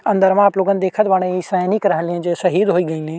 अंदरवा आप लोगन देखत बाड़े इ सैनिक रहले जो शहीद होइ गइले।